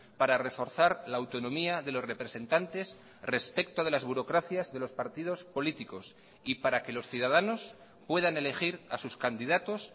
para reforzar la autonomía de los representantes respecto de las burocracias de los partidos políticos y para que los ciudadanos puedan elegir a sus candidatos